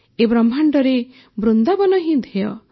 ଏ ବ୍ରହ୍ମାଣ୍ଡରେ ବୃନ୍ଦାବନ ହିଁ ଧ୍ୟେୟ